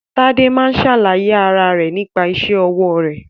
Tade máa ń ṣàlàyé ara rẹ nípa isẹ́ ọwọ́ rẹ̀.